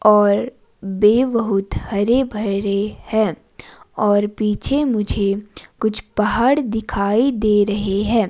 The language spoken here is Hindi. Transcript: और वे बहुत हरे भरे हैं और पीछे मुझे कुछ पहाड़ दिखाई दे रहे हैं।